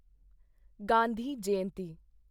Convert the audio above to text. Gandhi Jayanti